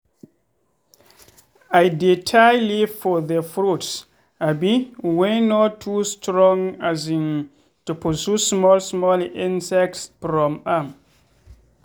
i dey tie leaf for the fruits um wey no too strong um to pursue small small insects from am.